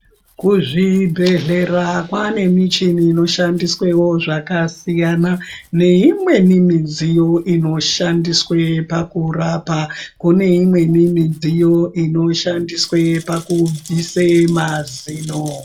Kuzvibhedhlera kwaane michini inoshandiswewo zvakasiyana neimweniwo midziyo inoshandiswe pakurapa. Kune imweni midziyo inoshandiswe pakubvise mazino.